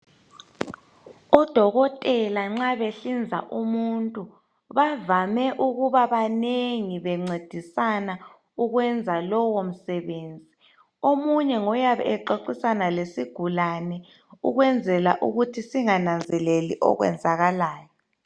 Odokotela nxa behlinza umuntu bavame ukubabanengi bencedisana ukwenza lowo msebenzi omunye ngoyabe exoxisana lesigulane ukwenzela ukuthi singananzeleli okwenzakalayo